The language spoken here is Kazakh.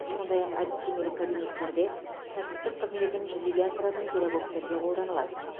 сондай ақ әдістемелік кабинеттерде кәсіптік қызметін жүзеге асыратын педагогтерге қолданылады